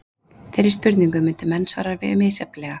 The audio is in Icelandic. Þeirri spurningu myndu menn svara misjafnlega.